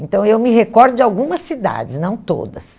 Então, eu me recordo de algumas cidades, não todas.